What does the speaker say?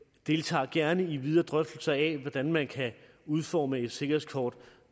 deltager gerne i videre drøftelser af hvordan man kan udforme et sikkerhedskort